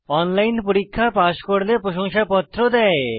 online পরীক্ষা pass করলে প্রশংসাপত্র দেয়